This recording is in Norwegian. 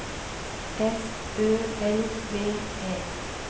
S Ø L V E